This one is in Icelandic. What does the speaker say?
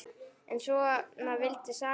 En svona vildi sagan vera